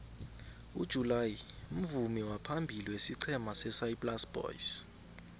ujuly mvumi waphambili wesiqhema sesaplasi boys